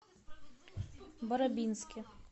барабинске